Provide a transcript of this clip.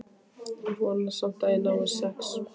Vona samt að ég nái sex.